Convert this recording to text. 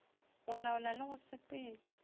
go laola le go sepetša